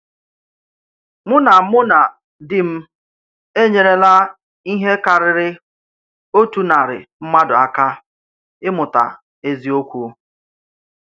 Mụ̀ na Mụ̀ na dì m enyèrèlà íhè kárịrị òtù narị mmadụ àkà ímùtà èzìọ̀kwú.